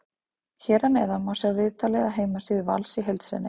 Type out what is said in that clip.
Hér að neðan má sjá viðtalið af heimasíðu Vals í heild sinni.